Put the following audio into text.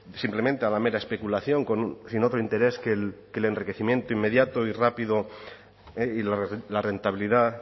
simplemente a la mera especulación sin otro interés que el enriquecimiento inmediato y rápido y la rentabilidad